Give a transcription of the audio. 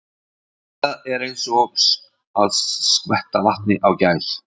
Eitthvað er eins og skvetta vatni á gæs